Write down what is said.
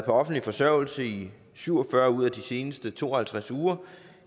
offentlig forsørgelse i syv og fyrre ud af de seneste to og halvtreds uger